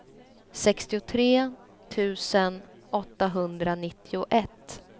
sextiotre tusen åttahundranittioett